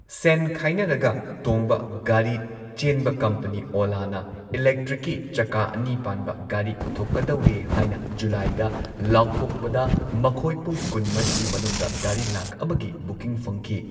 ꯁꯦꯟ ꯈꯥꯏꯅꯔꯒ ꯇꯣꯡꯕ ꯒꯥꯔꯤ ꯆꯦꯟꯕ ꯀꯝꯄꯅꯤ ꯑꯣꯂꯥꯅ ꯏꯂꯦꯛꯇ꯭ꯔꯤꯛꯀꯤ ꯆꯀꯥ ꯑꯅꯤ ꯄꯥꯟꯕ ꯒꯥꯔꯤ ꯄꯨꯊꯣꯛꯀꯗꯧꯔꯦ ꯍꯥꯏꯅ ꯖꯨꯂꯥꯏꯗ ꯂꯥꯎꯊꯣꯛꯄꯗ, ꯃꯈꯣꯏ ꯄꯨꯡ ꯀꯨꯟ ꯃꯔꯤꯒꯤ ꯃꯅꯨꯡꯗ ꯒꯥꯔꯤ ꯂꯥꯈ ꯑꯃꯒꯤ ꯕꯨꯀꯤꯡ ꯐꯪꯈꯤ꯫